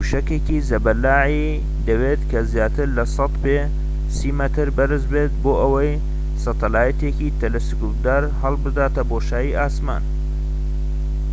موشەکێکی زەبەلاحی دەوێت کە زیاتر لە ١٠٠ پێ [٣٠ مەتر] بەرز بێت بۆ ئەوەی سەتەلایتێکی تەلەسکۆبدار هەلبداتە بۆشایی ئاسمان